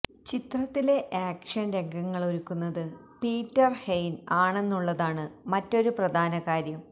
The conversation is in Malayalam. ചിത്രത്തിലെ ആക്ഷന് രംഗങ്ങളൊരുക്കുന്നത് പീറ്റര് ഹെയിന് ആണെന്നുള്ളതാണ് മറ്റൊരു പ്രധാന കാര്യം